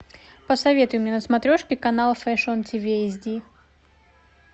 посоветуй мне на смотрешке канал фэшн тиви эс ди